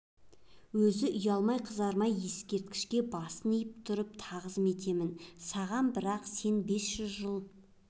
өзі ұялмай-қызармай ескерткішіне басын иіп тұрып тағзым етемін саған бірақ сен бес жүз жыл